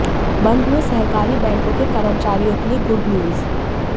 बंद हुए सहकारी बैंकों के कर्मचारियों के लिए गुडन्यूज